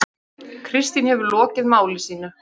Kristín hefur lokið máli sínu.